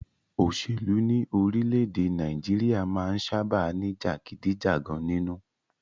Òṣèlú ní orílẹ̀-èdè Nàìjíríà máà ń sábáà ní jàgídíjàgan nínú.